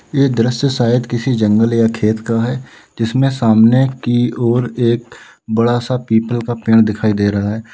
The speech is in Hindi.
ये दृश्य शायद किसी जंगल या खेत का है जिसमें सामने की ओर एक बड़ा सा पीपल का पेड़ दिखाई दे रहा है।